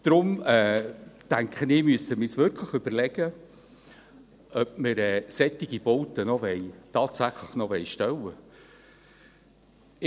Daher denke ich, dass wir uns wirklich überlegen müssen, ob wir solche Bauten tatsächlich noch aufstellen wollen.